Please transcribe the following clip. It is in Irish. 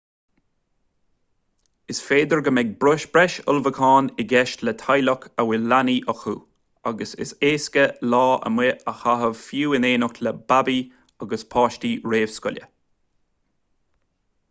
is féidir go mbeidh breis ullmhúchán i gceist le teaghlaigh a bhfuil leanaí acu ach is éasca lá amuigh a chaitheamh fiú in éineacht le babaí agus páistí réamhscoile